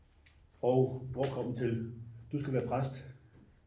og hvor kom vi til du skal være præst